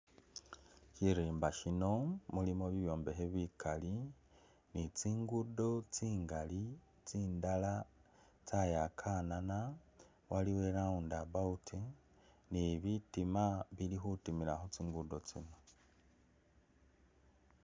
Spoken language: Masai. Shirimba shino shilimo bibyombekhe bikali ni tsingudo tsingali tsindala tsayakanana, waliwo i round about ni bitima bili khutimila khutsingudo tsino.